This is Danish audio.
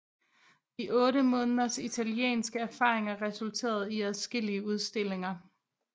De 8 måneders italienske erfaringer resulterede i adskillige udstillinger